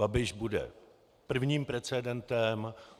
Babiš bude prvním precedentem.